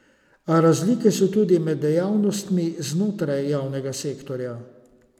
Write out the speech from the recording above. A razlike so tudi med dejavnostmi znotraj javnega sektorja.